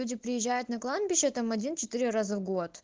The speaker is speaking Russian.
люди приезжают на кладбище там один четыре раза в год